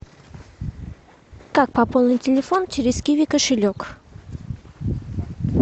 как пополнить телефон через киви кошелек